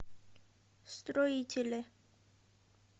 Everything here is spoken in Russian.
строителе